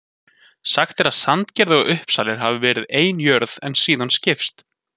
Sagt er að Sandgerði og Uppsalir hafi verið ein jörð en síðan skipst.